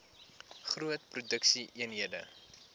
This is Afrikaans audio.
groot produksie eenhede